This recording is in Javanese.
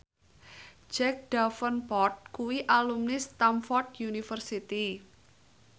Jack Davenport kuwi alumni Stamford University